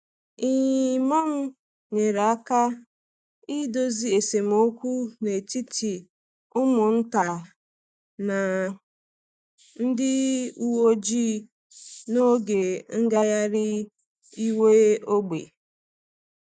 Imam nyere aka idozi esemokwu n’etiti ụmụ nta na ndị uwe ojii n’oge ngagharị iwe ógbè.